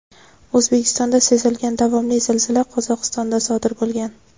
O‘zbekistonda sezilgan davomli zilzila Qozog‘istonda sodir bo‘lgan.